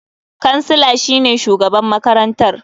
Kansila shine shugaban makarantar.